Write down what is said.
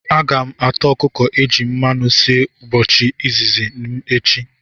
Aga m ata okuko eji mmanu si mbochi izizi m echi